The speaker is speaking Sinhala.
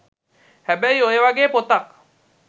හැබැයි ඔය වගේ පොතක්